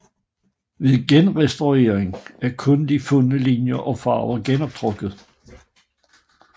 Ved genrestaueringen er kun de fundne linjer og farver genoptrukket